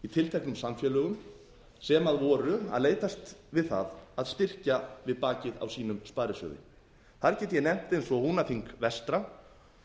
tilteknum samfélögum sem voru að leitast við það að styrkja við bakið á sínum sparisjóði þar get ég nefnt eins og húnaþing vestra